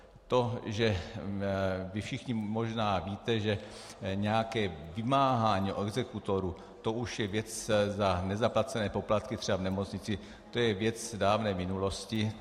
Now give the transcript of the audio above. To, že vy všichni možná víte, že nějaké vymáhání od exekutorů, to už je věc za nezaplacené poplatky třeba v nemocnici, to je věc dávné minulosti.